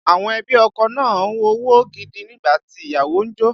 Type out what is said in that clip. Àwọn ẹbí ọkọ na owó gidi nígbà tí ìyàwó ń jó